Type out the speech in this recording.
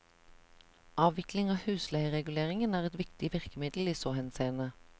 Avvikling av husleiereguleringen er et viktig virkemiddel i så henseende.